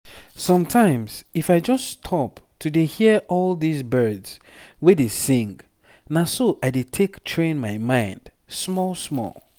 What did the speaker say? sometimes if i just stop to dey hear all this birds wey dey sing na so i dey take train my mind small small.